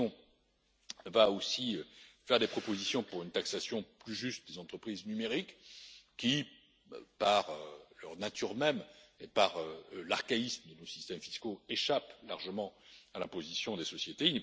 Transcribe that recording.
La Commission va aussi faire des propositions pour une taxation plus juste des entreprises numériques qui, par leur nature même et par l'archaïsme de nos systèmes fiscaux, échappent largement à l'imposition des sociétés.